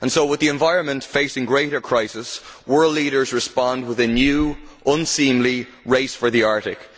With the environment facing greater crisis, world leaders respond with a new, unseemly race for the Arctic.